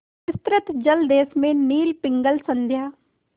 विस्तृत जलदेश में नील पिंगल संध्या